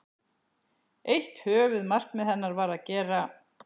Eitt höfuðmarkmið hennar var að gera